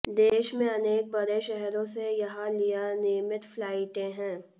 देश में अनेक बड़े शहरों से यहां लिए नियमित फ्लाइटें हैं